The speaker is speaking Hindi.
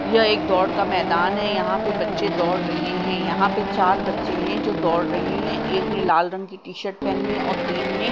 यह एक दौड़ का मैदान है। यहाँ पे बच्चे दौड़ रहे हैं। यहाँ पे चार बच्चे है जो दौड़ रहे हैं। एक ने लाल रंग की टी-शर्ट पहनी है और तीन ने --